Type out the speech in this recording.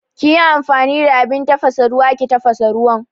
Kiyi amfani da abin tafasa ruwa ki tafasa ruwan